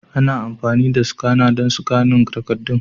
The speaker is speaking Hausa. Ana amfani da skana don sikanin takaddun.